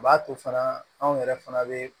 O b'a to fana anw yɛrɛ fana bɛ